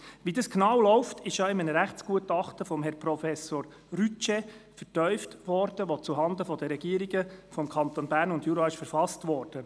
Wie dies genau läuft, wurde ja in einem Rechtsgutachten von Herrn Professor Rütsche vertieft, das zuhanden der Regierungen der Kantone Bern und Jura verfasst wurde.